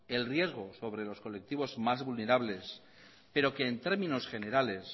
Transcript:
el riesgo sobre los colectivos más vulnerables pero que en términos generales